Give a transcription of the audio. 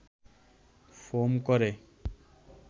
foam করে